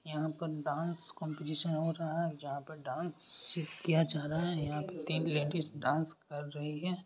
यहाँ पर dance competition हो रहा जहां पर डांस सी किया जा रहा है यहाँ पर तीन लेडिस डांस कर रही है।